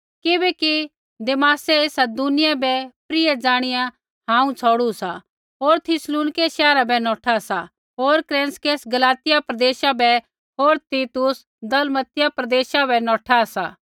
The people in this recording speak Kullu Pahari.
किबैकि देमासै ऐसा दुनिया बै प्रिय ज़ाणिया हांऊँ छ़ौड़ू सा होर थिस्सलुनीक शैहरा बै नौठा सा होर क्रेसकेंस गलातिया प्रदेशा बै होर तीतुस दलमतिया प्रदेशा बै नौठा सा